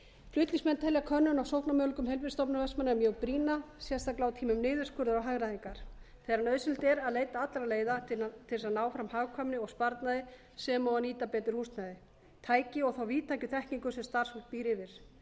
flutningsmenn telja könnun á sóknarmöguleikum heilbrigðisstofnunar vestmannaeyja mjög brýna sérstaklega á tímum niðurskurðar og hagræðingar þegar nauðsynlegt er að leita allra leiða til þess að ná fram hagkvæmni og sparnaði sem og að nýta betur húsnæði tæki og þá víðtæku þekkingu sem starfsfólk býr yfir